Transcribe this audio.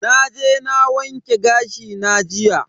Naje na wanke gashi na jiya.